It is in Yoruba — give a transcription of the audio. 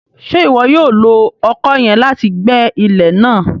Ṣe iwọ yoo lo ọkọ yẹn láti gbẹ ilẹ náà?